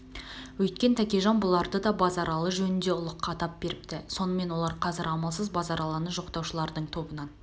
өйткен тәкежан бұларды да базаралы жөінінде ұлыққа атап беірпті сонымен олар қазір амалсыз базаралыны жоқтаушылардың тобынан